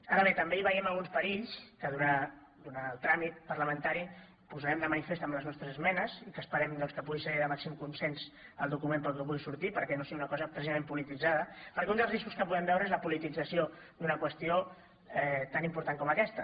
ara bé també veiem alguns perills que durant el tràmit parlamentari posarem de manifest amb les nostres esmenes i que esperem doncs que pugui ser de màxim consens el document que pugui sortir perquè no sigui una cosa precisament polititzada perquè un dels riscos que podem veure és la politització d’una qüestió tan important com aquesta